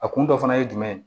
A kun dɔ fana ye jumɛn ye